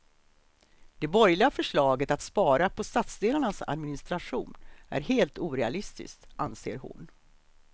Det borgerliga förslaget att spara på stadsdelarnas administration är helt orealistisk, anser hon.